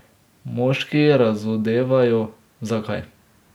Moški razodevajo, zakaj.